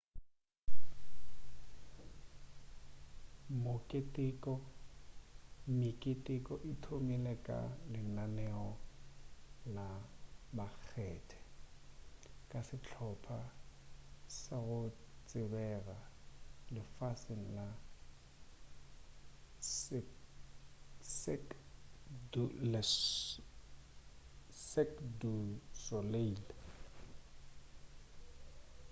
meketeko e thomile ka lenaneo la makgethe ka sehlopa sa go tsebega lefaseng sa cirque du soleil